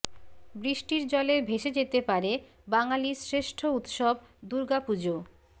বৃষ্টির জলে ভেসে যেতে পারে বাঙালির শ্রেষ্ঠ উৎসব দুর্গাপূজো